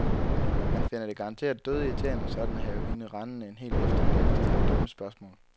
Han finder det garanteret dødirriterende sådan at have hende rendende en hel eftermiddag og stille dumme spørgsmål.